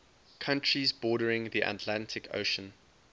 countries bordering the atlantic ocean